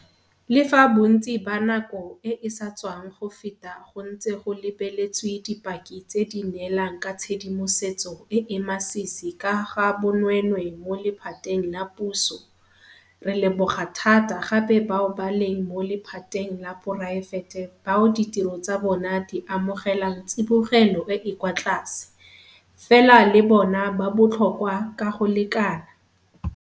Le fa bontsi ba nako e e sa tswang go feta go ntse go lebeletswe dipaki tse di neelang ka tshedimosetso e e masisi ka ga bonweenwee mo lephateng la puso, re leboga thata gape bao ba leng mo lephateng la poraefete bao ditiro tsa bona di amogelang tsibogelo e e kwa tlase, fela le bona ba botlhokwa ka go lekana.